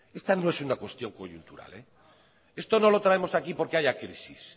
esta no es una cuestión coyuntural esto no lo traemos aquí porque haya crisis